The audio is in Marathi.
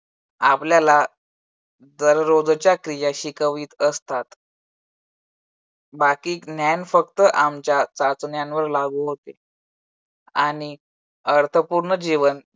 आपल्याला दररोजच्या क्रिया शिकवीत असतात. बाकी ज्ञान फक्त आमच्या चाचण्यांवर लागू होते. आणि अर्थपूर्ण जीवन